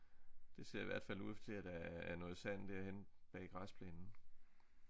Det ser i hvert fald ud til at der er er noget sand derhenne bag græsplænen